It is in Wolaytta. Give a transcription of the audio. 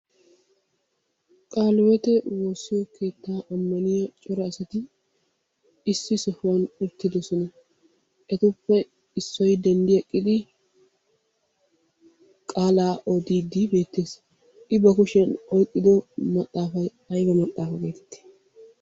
Kaalewotte woossiyo keetta ammniyaa cora asatti issi sohuwaani uttidossona. Ettuppe giddoppe Issoy denddieqidi qaalla oddidi beettes. I ba kushshiyaani oyqqido maxaafay aybba maxaafa geetteti?